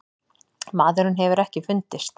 Maðurinn hefur ekki fundist.